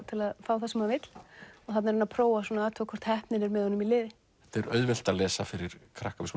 til að fá það sem hann vill og þarna prófar hann hvort heppnin er með honum í liði þetta er auðvelt að lesa fyrir krakka við